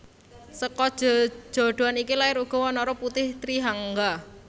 Seka jejodhoan iki lair uga wanara putih Trihangga